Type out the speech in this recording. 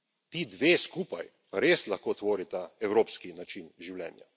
Ti dve skupaj res lahko tvorita evropski način življenja.